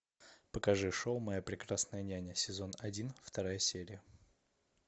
покажи шоу моя прекрасная няня сезон один вторая серия